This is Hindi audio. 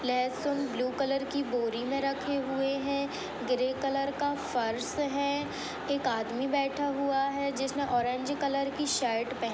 लेसून ब्लू कलर की बोरी में रखे हुए हैं। ग्रे कलर का फर्स है। एक आदमी बैठा हुआ है जिस ने ओरेंज कलर की शर्ट पह --